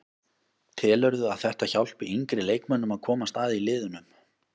Telurðu að þetta hjálpi yngri leikmönnum að komast að í liðunum?